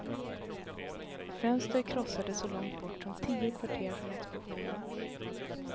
Fönster krossades så långt bort som tio kvarter från explosionen.